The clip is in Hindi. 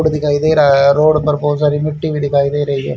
रोड दिखाई दे रहा है। रोड पर बहोत सारी मिट्टी भी दिखाई दे रही है।